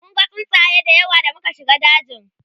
munga tsuntsaye da yawa da muka shiga dajin